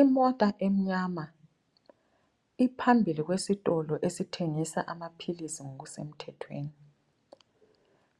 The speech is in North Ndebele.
Imota emnyama, iphambili kwesitolo esithengisa amaphilisi ngo kusemthethweni.